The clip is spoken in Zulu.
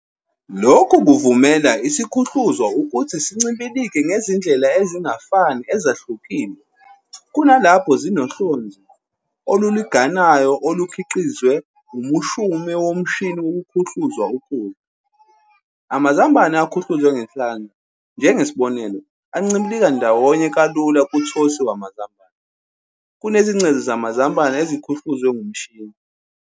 Lokhu kuvumela isiKhuhluzwa ukuthi sincibilike ngezindlela ezingafani ezahlukile kunalapho zinohlonze olulinganayo olukhiqizwe umushume womushini wokukhuhluza ukudla. Amazambane aKhuhluzwe ngesandla, njengesibonelo, ancibilika ndawonye kalula kuThosi wamaZambane kunezingcezu zamazambane ezikhuhluzwe ngomushini.